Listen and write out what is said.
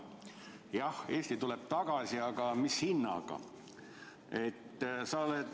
Jah, Eesti tuleb tagasi, aga mis hinnaga?